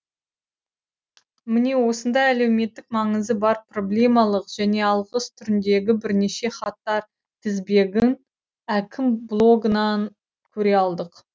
міне осындай әлеуметтік маңызы бар проблемалық және алғыс түріндегі бірнеше хаттар тізбегін әкім блогынан көре алдық